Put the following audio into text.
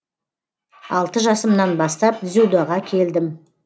алты жасымнан бастап дзюдоға келдім